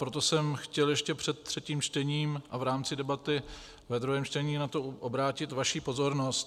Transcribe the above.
Proto jsem chtěl ještě před třetím čtením a v rámci debaty ve druhém čtení na to obrátit vaši pozornost.